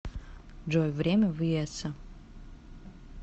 джой время в иессо